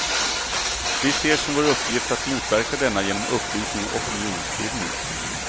Vi ser som vår uppgift att motverka denna genom upplysning och opinionsbildning.